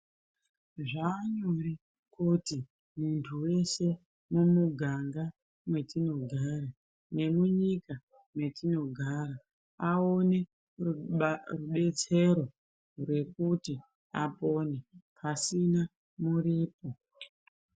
Zvaanyore kuti muntu weshe mumuganga mwetinogara nemunyika mwetinogara aone rubetsero rekuti apone pasina muripo.